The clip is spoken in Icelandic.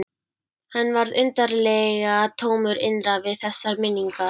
Hann varð undarlega tómur innra við þessar minningar.